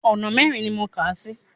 Ọ̀nà mẹ́rin ni mo kàá sí.